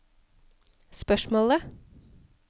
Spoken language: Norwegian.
spørsmålet